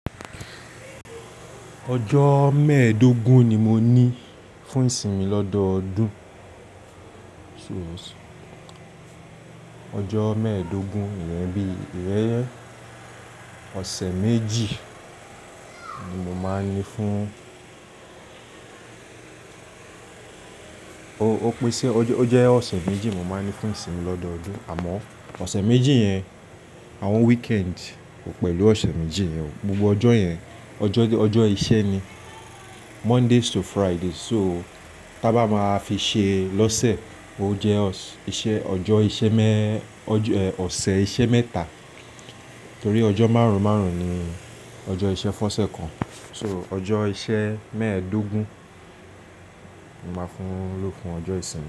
Ọjọ́ mẹ́ẹ̀ẹ́dógún ni mo ní fún ìsinmi lọ́dọọdún. Ọjọ́ mẹ́ẹ̀ẹ́dógún, ìyẹn bí ìrẹ́rẹ́ ọ̀sẹ̀ méjì ni mo máa ń ní fún Ó pèsé, ó jẹ́ ọ̀sẹ̀ méjì mo máa ń ní fún ìsinmi lọ́dọọdún. Àmọ́ ọ̀sẹ̀ méjì yẹn, àwọn weekend kò pẹ̀lú ọ̀sẹ̀ méjì yẹn o. Gbogbo ọjọ́ yẹn, ọjọ́ iṣẹ́ ni. Monday to Friday. So, tía bá máa fi ṣe lọ́sẹ̀, ó jẹ́ iṣẹ́, ọjọ́ iṣẹ́ mẹ́, ọ̀sẹ̀ iṣẹ́ mẹ́ta. Torí ọjọ́ márùn-márùn ni ọjọ́ iṣẹ́ fọ́ṣẹ́ kan. So, ọjọ́ iṣẹ́ mẹ́dógún ni máa ń lo fún ọjọ́ ìsinmi.